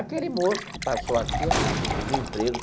Aquele moço que passou aqui ó, pediu emprego.